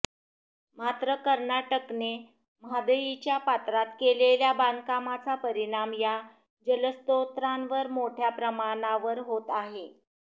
मात्र कर्नाटकने म्हादईच्या पात्रात केलेल्या बांधकामाचा परिणाम या जलस्रोतांवर मोठय़ा प्रमाणावर होत आहे